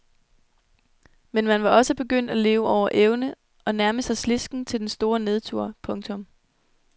Men man var også begyndt at leve over evne og nærme sig slidsken til den store nedtur. punktum